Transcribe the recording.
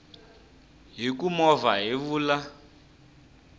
hi ku movha hi vula